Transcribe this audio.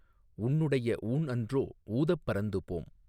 உன்னுடைய ஊண்அன்றோ ஊதப் பறந்துபோம்